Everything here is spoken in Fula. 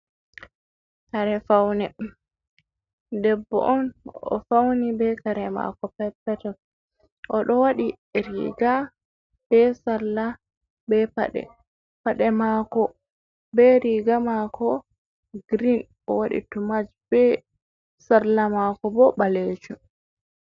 Kare fawne, debbo on o fauni be kare mako peto peto, oɗo waɗi riga be salla be paɗe, paɗe mako be riga mako girin o waɗi tomat be salla mako bo ɓalejo.